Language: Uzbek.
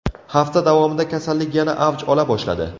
Hafta davomida kasallik yana avj ola boshladi.